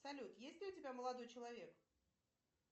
салют есть ли у тебя молодой человек